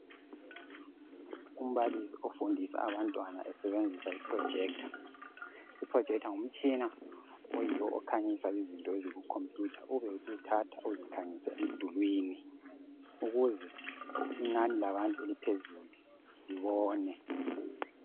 Umbalisi ofundisa abantwana esebenzisa iprojector, iprojector ngumtshina oyiwo okhanyisa izinto eziku computer ubesu thatha uzikhanyise emdulwini ukuze inani labantu eliphezulu libone.